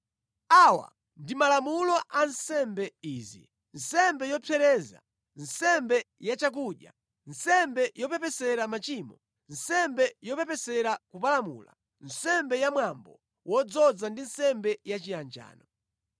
Awa ndi malamulo a nsembe izi: nsembe yopsereza, nsembe yachakudya, nsembe yopepesera machimo, nsembe yopepesera kupalamula, nsembe ya mwambo wodzoza ndi nsembe yachiyanjano.